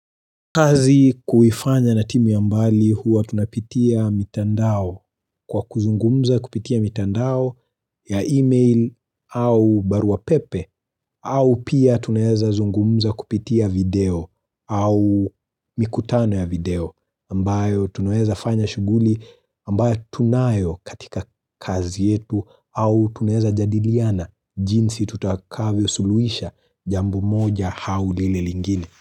Kazi kuifanya na timu ya mbali huwa tunapitia mitandao kwa kuzungumza kupitia mitandao ya email au baruapepe au pia tunaeza zungumza kupitia video au mikutano ya video ambayo tunaeza fanya shuguli ambayo tunayo katika kazi yetu au tunaeza jadiliana jinsi tutakavyo suluisha jambo moja haulile lingine.